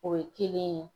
O ye kelen ye